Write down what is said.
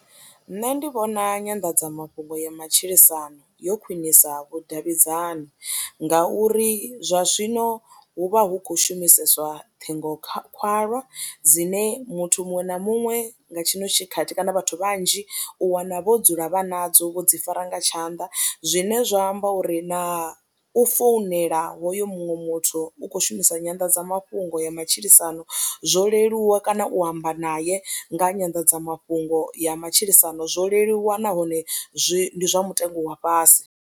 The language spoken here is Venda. Nṋe ndi vhona nyanḓadzamafhungo ya matshilisano yo khwinisa vhudavhidzani ngauri zwa zwino hu vha hu khou shumiseswa ṱhingokhalwa dzine muthu muṅwe na muṅwe nga tshino tshikhathi kana vhathu vhanzhi u wana vho dzula vha nadzo vho dzi fara nga tshanḓa zwine zwa amba uri na u founela hoyo muṅwe muthu u khou shumisa nyanḓadzamafhungo ya matshilisano zwo leluwa kana u amba naye nga nyanḓadzamafhungo ya matshilisano zwo leluwa nahone zwi zwa mutengo wa fhasi.